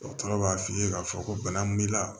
Dɔgɔtɔrɔ b'a f'i ye k'a fɔ ko bana b'i la